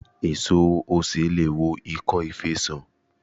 Èso osè leè wo ìkọ́ fe sàn